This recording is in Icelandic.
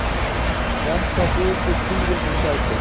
Þetta þykir tíðindum sæta.